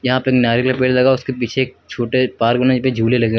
यहां पे एक नारियल का पेड़ लगा है उसके पीछे एक छोटे पार्क बना है वोही पे झूले लगे हुए हैं।